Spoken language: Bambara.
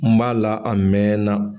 N b'a la a mɛn na.